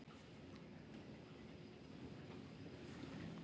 Og Sturlu finnst gott að finna þétt handtak þessa glaðlega manns.